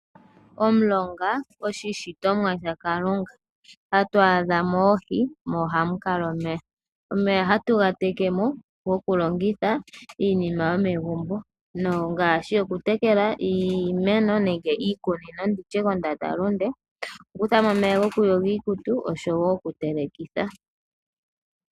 Omulongo oshi shitomwa sha kalunga. Ohatu adhamo oohi osho wo omeya, omeya ohatu ga tekemo, oku longitha iinima yo megumbo ngashi oku tekela iimeno nenge iikunino nditye kondanda lunde, oku kuthamo omeya goku yoga iikutu osho wo oku telekitha.